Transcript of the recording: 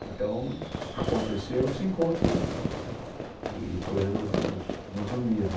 Então, aconteceu esse encontro e e depois resolvemos nos unir né.